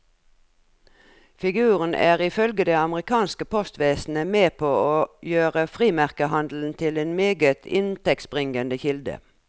Figuren er ifølge det amerikanske postvesenet med på å gjøre frimerkehandelen til en meget inntektsbringende kilde.